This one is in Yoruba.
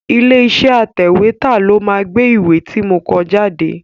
Ilé iṣẹ́ atẹ̀wétà ló máa gbé ìwé ti mo kọ jáde.